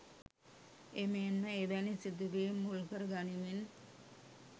එමෙන්ම එවැනි සිදුවීම් මුල්කර ගනිමින්